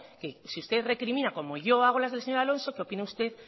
que si usted recrimina como yo hago las del señor alonso que opine usted